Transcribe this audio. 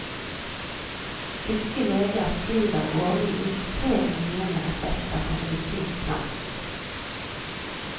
Tyske leger skriver årlig ut tre millioner resepter på medisinplanten.